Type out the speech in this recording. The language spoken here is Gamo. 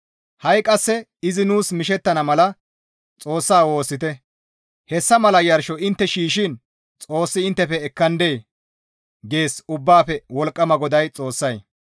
«Ha7i qasse izi nuus mishettana mala Xoossa woossite; hessa mala yarsho intte shiishshiin Xoossi inttefe ekkandee?» gees Ubbaafe Wolqqama GODAA Xoossay.